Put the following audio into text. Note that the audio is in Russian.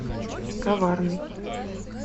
коварный